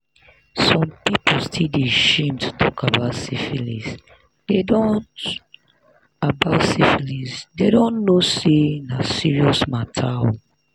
some people still dey shame to talk about syphilisthey don't about syphilisthey don't know say na serious mater oo